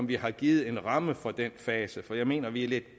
vi har givet en ramme for den fase for jeg mener at vi er lidt